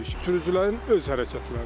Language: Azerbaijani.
Sürücülərin öz hərəkətləridir.